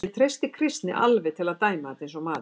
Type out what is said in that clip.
Ég treysti Kristni alveg til að dæma þetta eins og maður.